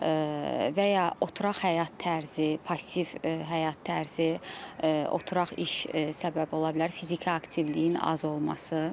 və ya oturaq həyat tərzi, passiv həyat tərzi, oturaq iş səbəb ola bilər, fiziki aktivliyin az olması.